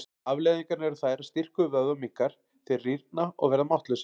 Afleiðingarnar eru þær að styrkur vöðva minnkar, þeir rýrna og verða máttlausir.